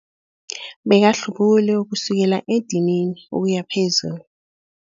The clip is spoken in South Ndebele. Bekahlubule kusukela edinini ukuya phezulu.